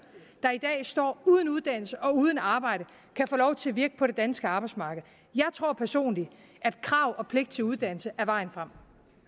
der i dag står uden uddannelse og uden arbejde kan få lov til at virke på det danske arbejdsmarked jeg tror personligt at krav og pligt til uddannelse er vejen frem